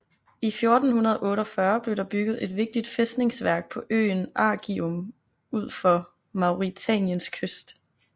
I 1448 blev der bygget et vigtigt fæstningsværk på øen Arguim ud for Mauritaniens kyst